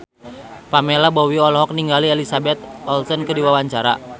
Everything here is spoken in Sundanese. Pamela Bowie olohok ningali Elizabeth Olsen keur diwawancara